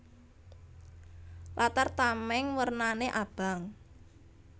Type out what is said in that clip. Latar tamèng wernané abang